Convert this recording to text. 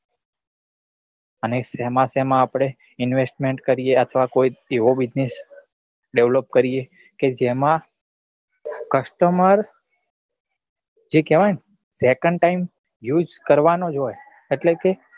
અને સેમા સેમા આપડે investment કરીએ અથવા કોઈ એવું business develop કરીએ કે જેમાં customer જે કેવાય ને second time use કરવા નો જ હોય એટલે કે